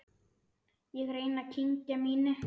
Ég reyni að kyngja mínu.